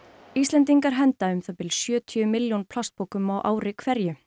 Íslendingar henda um það bil sjötíu milljón plastpokum á ári hverju